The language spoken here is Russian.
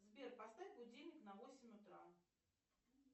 сбер поставь будильник на восемь утра